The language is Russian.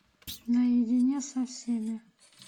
наедине со всеми